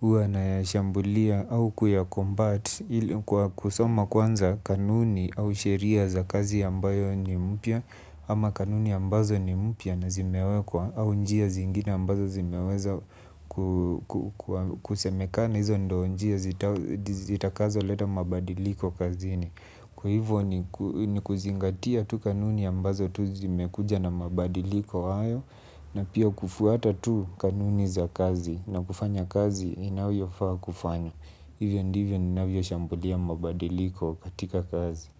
huwa nayashambulia au kuyacombat kwa kusoma kwanza kanuni au sheria za kazi ambayo ni mpya ama kanuni ambazo ni mpya na zimewekwa au njia zingine ambazo zimeweza kusemekana hizo ndio njia zitakazo leta mabadiliko kazini. Kwa hivyo ni kuzingatia tu kanuni ambazo tu zimekuja na mabadiliko hayo, na pia kufuata tu kanuni za kazi na kufanya kazi inavyofaa kufanywa. Hivyo ndivyo ninavyoshambulia mabadiliko katika kazi.